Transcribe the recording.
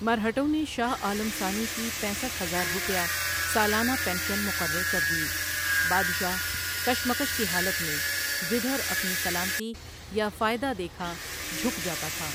مرہٹوں نے شاہ عالم ثانی کی پینسٹھ ہزار روپیہ سالانہ پنشن مقرر کردی بادشاہ کشمکش کی حالت میں جدھر اپنی سلامتی یا فائدہ دیکھا جھک جاتا تھا ۔